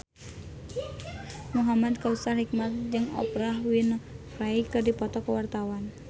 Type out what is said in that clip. Muhamad Kautsar Hikmat jeung Oprah Winfrey keur dipoto ku wartawan